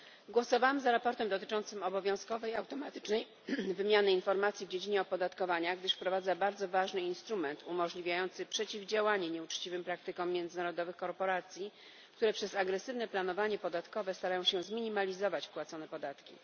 Głosowałam za sprawozdaniem dotyczącym obowiązkowej automatycznej wymiany informacji w dziedzinie opodatkowania, gdyż wprowadza ono bardzo ważny instrument umożliwiający przeciwdziałanie nieuczciwym praktykom międzynarodowych korporacji, które przez agresywne planowanie podatkowe starają się zminimalizować płacone podatki.